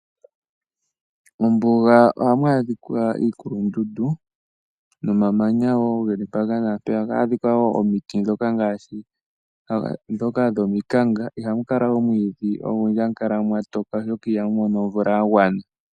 Mombuga ohamu adhika iikulundundu nomamanya wo ge li mpaka naampeyaka. Ohamu adhika wo omiti ndhoka ngaashi dhomikanga. Ihamu kala omwiidhi ogundji, ohamu kala mwa toka, oshoka ihamu mono omvula ya gwana.